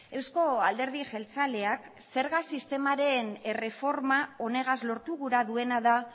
eusko alderdi jeltzaleak zerga sistemaren erreforma honegaz lortu gura duena da